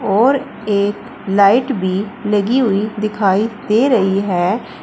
और एक लाइट भी लगी हुई दिखाई दे रही है।